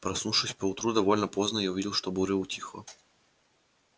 проснувшись поутру довольно поздно я увидел что буря утихла